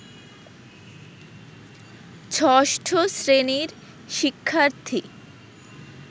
ষষ্ঠ শ্রেণীর শিক্ষার্থী